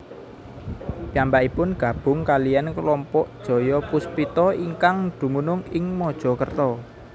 Piyambakipun gabung kaliyan kelompok Jayapuspita ingkang dumunung ing Mojokerto